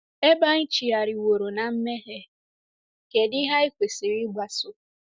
Ebe anyị chigharịworo ná mmehie, kedụ ihe anyị kwesịrị ịgbaso?